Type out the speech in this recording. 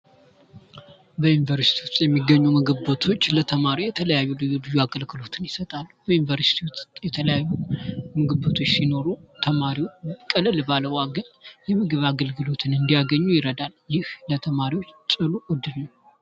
በዩኒቨርስቲ ውስጥ የሚገኙ ምግብ ቤቶች ለተማሪ የተለያዩ አገልግሎቶችን ይሰጣሉ። በዩኒቨርስቲ ውስጥ የተለያዩ ምግብ ቤቶች ሲኖሩ ተማሪው ቅልል ባለ ዋጋ የምግብ አገልግሎትን እንዲያገኙ ይረዳል ይህ ለተማሪው ጥሩ እድል ነው።